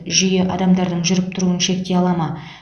жүйе адамдардың жүріп тұруын шектей ала ма